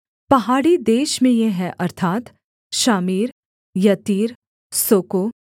पहाड़ी देश में ये हैं अर्थात् शामीर यत्तीर सोको